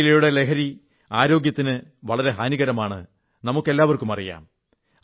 പുകയിലയുടെ ലഹരി ആരോഗ്യത്തിന് വളരെ ഹാനികരമാണെന്ന് നമുക്കെല്ലാമറിയാം